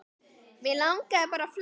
Mig langaði bara að fletta